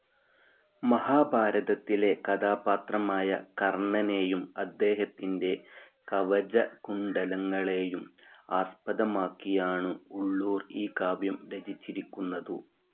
മഹാഭാരതത്തിലെ കഥാപാത്രമായ കർണ്ണനേയും അദ്ദേഹത്തിന്റെ കവചകുണ്ഡലങ്ങളേയും ആസ്പദമാക്കിയാണു് ഉള്ളൂർ ഈ കാവ്യം രചിച്ചിരിക്കുന്നതു്.